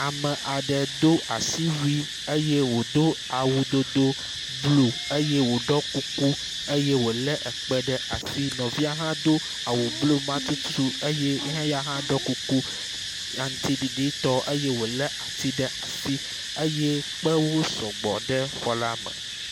Ame aɖe do asiwui eye wòdo awu dodo blu eye wòɖɔ kuku eye wòlé ekpe ɖe asi. Nɔvia hã do awu blu ma tututu eye eya hã ɖɔ kuku aŋtiɖiɖitɔ eye wòlé ati ɖe asi. Eye kpewo sɔgbɔ ɖe xɔ la me.